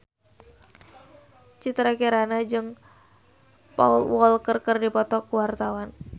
Citra Kirana jeung Paul Walker keur dipoto ku wartawan